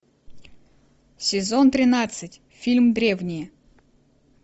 сезон тринадцать фильм древние